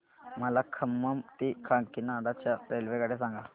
मला खम्मम ते काकीनाडा च्या रेल्वेगाड्या सांगा